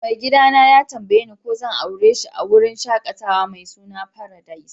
Mai gida na ya tambaye ni ko zan aure shi a'wurin shakatawa mai suna Paradise.